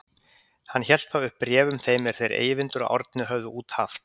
Hélt hann þá upp bréfum þeim er þeir Eyvindur og Árni höfðu út haft.